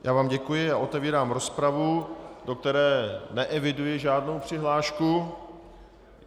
Já vám děkuji a otevírám rozpravu, do které neeviduji žádnou přihlášku.